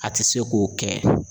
A te se k'o kɛ